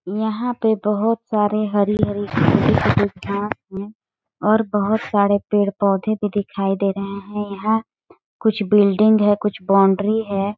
यहाँ पे बहुत सारे हरी हरी घास है और बहुत सारे पेड़- पौधे भी दिखाई दे रहे है यहाँ कुछ बिल्डिंग है कुछ बाउंड्री हैं।